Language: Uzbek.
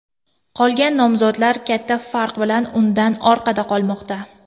Qolgan nomzodlar katta farq bilan undan orqada qolmoqda.